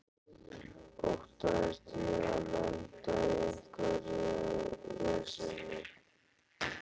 Óttaðist ég að lenda í einhverju veseni?